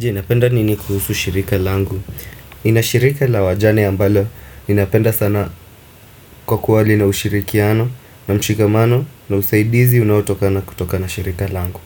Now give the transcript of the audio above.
Je, napenda nini kuhusu shirika langu. Inashirika la wajane ambalo, inapenda sana kwa kuwa lina ushirikiano na mshikamano na usaidizi unautokana kutoka na shirika langu.